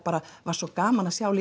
var svo gaman að sjá